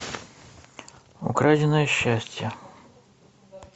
украденное счастье